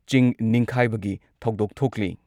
ꯆꯤꯡ ꯅꯤꯡꯈꯥꯏꯕꯒꯤ ꯊꯧꯗꯣꯛ ꯊꯣꯛꯂꯤ ꯫